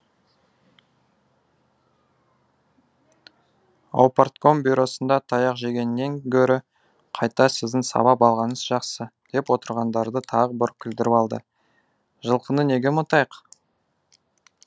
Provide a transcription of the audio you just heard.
аупартком бюросында таяқ жегеннен гөрі қайта сіздің сабап алғаныңыз жақсы деп отырғандарды тағы бір күлдіріп алды жылқыны неге ұмытайық